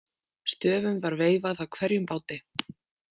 Stöfum var veifað á hverjum báti.